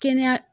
Kɛnɛya